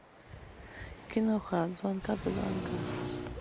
киноха от звонка до звонка